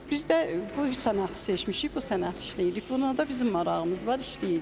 Biz də bu sənəti seçmişik, bu sənəti işləyirik, bunda da bizim marağımız var, işləyirik.